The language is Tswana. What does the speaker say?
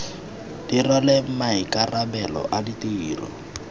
di rwale maikarabelo a ditiro